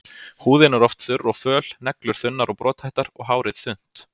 Húðin er oft þurr og föl, neglur þunnar og brothættar og hárið þunnt.